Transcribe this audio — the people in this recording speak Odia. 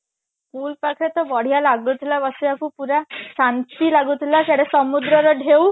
pool ପାଖରେ ତ ବଢିଆ ଲାଗୁଥିଲା ବସିବାକୁ ପୁରା ଶାନ୍ତି ଲାଗୁଥିଲା ସିଆଡେ ସମୁଦ୍ର ର ଢେଉ